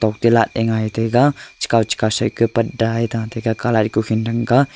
tilaat le ngai taiga chika chika set ka paddaa hai thate ka colour ku khee dang ka.